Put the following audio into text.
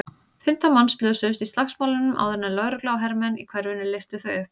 Fimmtán manns slösuðust í slagsmálunum áður en lögregla og hermenn í hverfinu leystu þau upp.